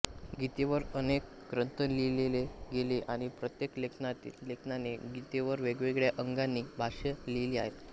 गीतेवर अनेक ग्रंथ लिहिले गेले आणि प्रत्येक लेखकाने गीतेवर वेगवेगळ्या अंगांनी भाष्ये लिहिली आहेत